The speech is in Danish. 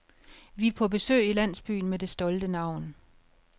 Vi er på besøg i landsbyen med det stolte navn.